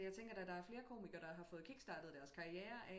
Jeg tænker da der er flere komiker der har fået kickstartet deres karriere af